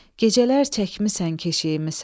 Gecələr çəkmisən keşiyimi sən.